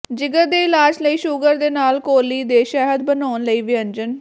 ਜਿਗਰ ਦੇ ਇਲਾਜ ਲਈ ਸ਼ੂਗਰ ਦੇ ਨਾਲ ਕੌਲੀ ਦੇ ਸ਼ਹਿਦ ਬਣਾਉਣ ਲਈ ਵਿਅੰਜਨ